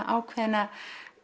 ákveðna